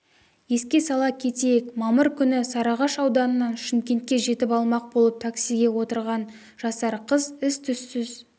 еске сала кетейік мамыр күні сарыағаш ауданынан шымкентке жетіп алмақ болып таксиге отырған жасар қыз із-түссіз